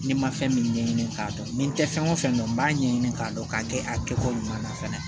Ni n ma fɛn min ɲɛɲini k'a dɔn ni n tɛ fɛn o fɛn dɔn n b'a ɲɛɲini k'a dɔn k'a kɛ a kɛcogo ɲuman na fana